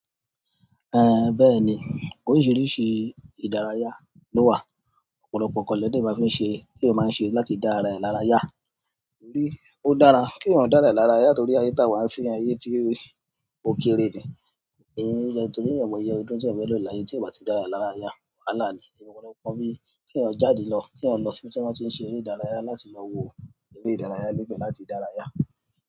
Bẹ́ẹ̀ni, oríṣìíríṣìí ìdárayá ló wà, ọ̀pọ̀lọpọ̀ nǹkan lèèyàn dẹ̀ máa fi ń ṣe, téèyàn máa ń ṣe láti dá ara ẹ̀ lára yá, bí ó dára kí o dà ara e lára ya torí ayé táa wa yìí ayé tí ó kere ni, torí ẹmọ ẹyọ ọdún jẹ́ mẹ́lọ̀ láyé tí a bá tí dá ara e lára ya, wàhálà ni, irú kọ̀lẹ́kọ̀ọ́ bí kí o jáde lọ, kí o lọ síbi tí wọn ti ń ṣe eré ìdárayá láti lọ wo eré ìdárayá níbẹ̀ láti dára yá.